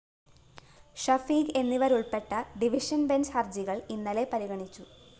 ഷഫീഖ് എന്നിവരുള്‍പ്പെട്ട division bench ഹര്‍ജികള്‍ ഇന്നലെ പരിഗണിച്ചു